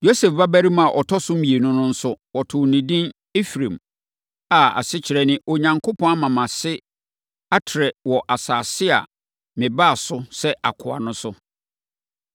Yosef babarima a ɔtɔ so mmienu no nso, wɔtoo no edin Efraim, a asekyerɛ ne Onyankopɔn ama mʼase afɛe wɔ asase a mebaa so sɛ akoa no so.